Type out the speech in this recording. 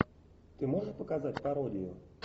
ты можешь показать пародию